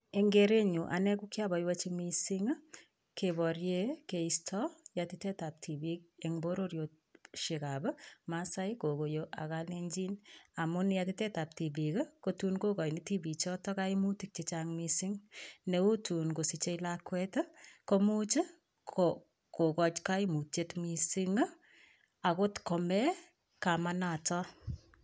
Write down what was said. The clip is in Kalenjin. Eng' kerenyu ane ko kiaboiboichi mising' keborie keisto yatitaetab tibiik eng' bororioshekab masaai kokoyo ak kalenjin amun yatitaetab tibiik kotuun kokoini tibii choto kaimutik chechang' mising' neu tuun kosichei lakwet komuuch kokoch kaimutyet mising' akot kome kamanoto